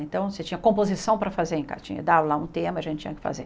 Então, você tinha composição para fazer em cartinha, dar lá um tema, a gente tinha que fazer.